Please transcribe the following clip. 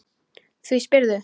Hví spyrðu?